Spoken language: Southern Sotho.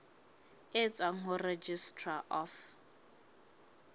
e tswang ho registrar of